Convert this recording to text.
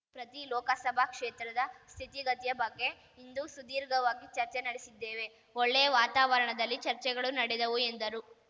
ಪ್ರತಿ ಲೋಕಸಭಾ ಕ್ಷೇತ್ರದ ಸ್ಥಿತಿಗತಿಯ ಬಗ್ಗೆ ಇಂದು ಸುದೀರ್ಘವಾಗಿ ಚರ್ಚೆ ನಡೆಸಿದ್ದೇವೆ ಒಳ್ಳೆಯ ವಾತಾವರಣದಲ್ಲಿ ಚರ್ಚೆಗಳು ನಡೆದವು ಎಂದರು